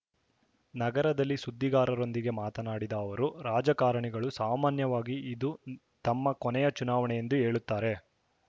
ನಗರದಲ್ಲಿ ಸುದ್ದಿಗಾರರೊಂದಿಗೆ ಮಾತನಾಡಿದ ಅವರು ರಾಜಕಾರಣಿಗಳು ಸಾಮಾನ್ಯವಾಗಿ ಇದು ತಮ್ಮ ಕೊನೆಯ ಚುನಾವಣೆಯೆಂದು ಹೇಳುತ್ತಾರೆ